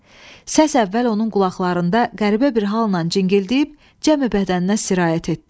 Səs əvvəl onun qulaqlarında qəribə bir halnan cingildiyib cəmi bədəninə sirayət etdi.